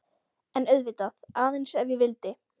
En auðvitað,- aðeins ef ég vildi.